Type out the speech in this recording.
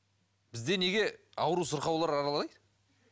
бізде неге ауру сырқаулар аралайды